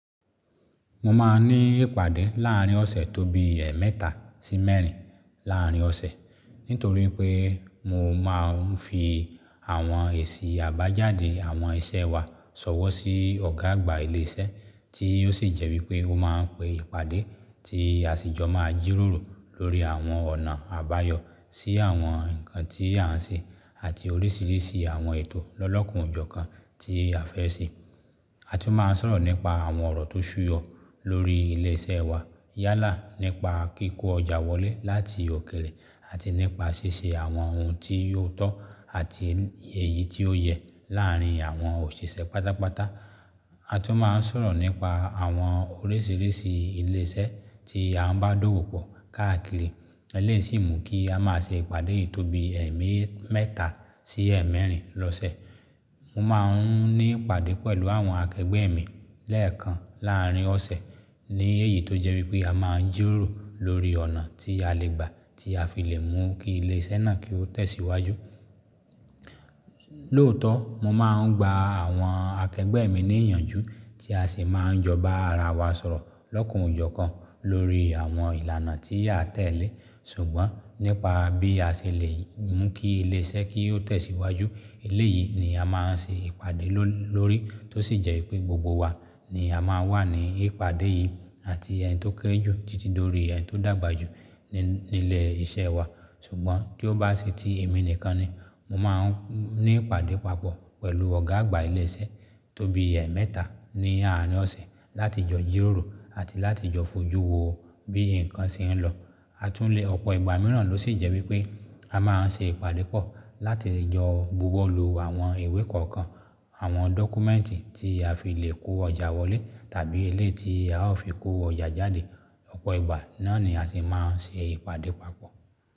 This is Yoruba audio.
Mo máa ń ní ìpàdé láàrín ọ̀sẹ̀ tóbi ẹ̀meta sí mẹ́rin láàrín ọ̀sẹ̀ nítorí pé mo máa ń fi àwọn èsì àbájáde àwọn iṣẹ́ wa ṣọwọ́ sí ọ̀gá àgbà ilé iṣẹ́ tí ó sì jẹ́ wípé ó máa ń pe ìpàdé tí a sì jọ máa ń jírórò lórí àwọn ọ̀nà àbáyọ sí àwọn ǹkan tí à ń ṣe àti oríṣiríṣi àwọn ètò lọ́lọ́kan ojọ kan tí a fẹ́ ṣe. A tún máa ń sọ̀rọ̀ nípa àwọn ọ̀rọ̀ tó súyọ lórí ilé iṣẹ́ wa yálà nípa kíkó ọjà wọlé láti òkèrè àti nípa ṣíṣe àwọn ohun tí ó tọ́ àti èyí tí ó yẹ láàrín àwọn òṣìṣẹ́ pátápátá. A tún máa ń sọ̀rọ̀ nípa àwọn oríṣiríṣi ilé iṣẹ́ tí à ń bá dówò pọ̀ káàkiri eleyi si mu kí a máa ṣe ìpàdé yìí tóbi ẹ̀ẹ́mẹ́ta sí ẹ̀ẹ́mẹ́rin lọ́sẹ̀. Mo máa ń ní ìpàdé pẹ̀lú àwọn akẹgbẹ́ mi lẹ́ẹ̀kan láàrín ọ̀sẹ̀ ní èyí tó jẹ́ wípé a máa ń jiroró lórí ọ̀nà tí a lè gbà tí a fi lè mú kí ilé iṣẹ́ náà kí ó tẹ̀síwájú. Lóòótọ́ mo máa ń gba àwọn akẹgbẹ́ mi ní ìyànjú tí a sì máa ń jọba ara wa sọ̀rọ̀ lọ́kan ojọ kan lórí àwọn ìlànà tí a tẹ̀lé ṣùgbọ́n nípa bí a ṣe lè mú kí ilé iṣẹ́ kí ó tẹ̀síwájú. Eléyìí ni a máa ń ṣe ìpàdé ló lórí tó sì jẹ́ wípé gbogbo wa ni a máa n wà ní ìpàdé yìí àti ẹni tó kéré jù títí dórí ẹni tó dàgbà jù ní ilé iṣẹ́ wa. Ṣùgbọ́n tí ó bá se tí èmi nìkan ni, mo máa ń ní ìpàdé papọ̀ pẹ̀lú ọ̀gá àgbà ilé iṣẹ́ tóbi ẹ̀ẹ́mẹ́ta ní àárín ọ̀sẹ̀ láti jọ jírórò àti láti jọ fojú wo bí ǹkan ṣe ń lọ. A tún lé ọ̀pọ̀ ìgbà mìíràn ló sì jẹ́ wípé a máa ń ṣe ìpàdé pọ̀ láti le jọ búwọ́lu àwọn ìwé kọ̀ọ̀kan, àwọn dọ́kúmẹ́ǹtì tí a fi lè kó ọjà wọlé tàbí eléyi ti a ó fi kó ọjà jáde. Ọ̀pọ̀ ìgbà náà ni a sì máa ń ṣe ìpàdé papọ̀.